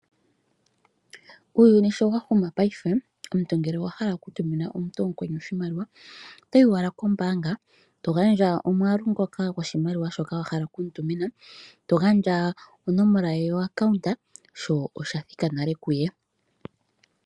Uuyuni sho wahuma paife omuntu ngele owa hala okutumina nkweni oshimaliwa otoyi owala kombaanga eto gandja omwaalu gwoshimaliwa wa hala okutuma nonomola ye yomayuliko ge gombaanga sho oshimaliwa osha thika kuye.